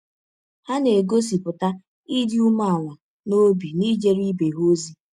Ha na - egọsipụta ịdị ụmeala n’ọbi n’ijere ibe ha ọzi.